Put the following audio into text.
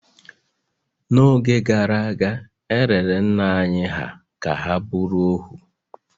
n’oge gara aga, e rere nna anyị hà ka ha bụrụ ohu